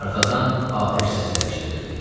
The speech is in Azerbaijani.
Arxadan atəş səsləri eşidilirdi.